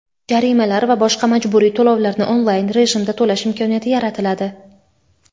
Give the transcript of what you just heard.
jarimalar va boshqa majburiy to‘lovlarni onlayn rejimda to‘lash imkoniyati yaratiladi.